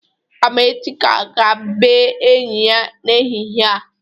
Amechi ga-aga bee enyi ya n'ehịhịe a.